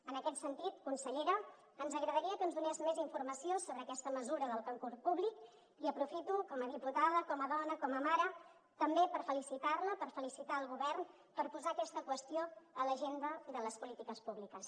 en aquest sentit consellera ens agradaria que ens donés més informació sobre aquesta mesura del concurs públic i aprofito com a diputada com a dona com a mare també per felicitar la per felicitar el govern per posar aquesta qüestió a l’agenda de les polítiques públiques